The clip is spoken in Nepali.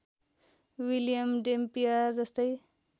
विलियम डैम्पियर जस्तै